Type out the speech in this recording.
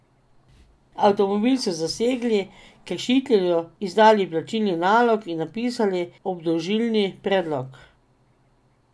Avtomobil so zasegli, kršitelju izdali plačilni nalog in napisali obdolžilni predlog.